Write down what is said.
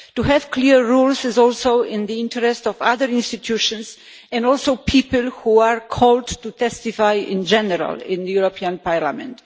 To have clear rules is also in the interest of other institutions and also people who are called to testify in general in this Parliament.